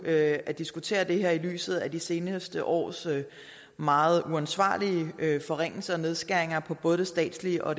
at at diskutere det her i lyset af de seneste års meget uansvarlige forringelser og nedskæringer i både det statslige og